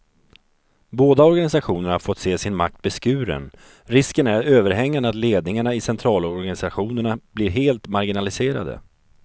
Båda organisationerna har fått se sin makt beskuren, risken är överhängande att ledningarna i centralorganisationerna blir helt marginaliserade.